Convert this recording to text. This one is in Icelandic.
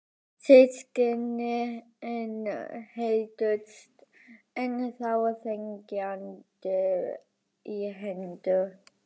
Systkinin héldust enn þá þegjandi í hendur.